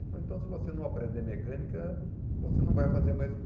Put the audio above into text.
Ele falou, então se você não aprender mecânica, você não vai fazer mais o